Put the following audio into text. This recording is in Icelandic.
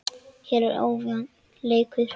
Hér var ójafn leikur.